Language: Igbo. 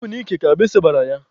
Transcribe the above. Ọ bụ n'ike ka agbisi gbara ya.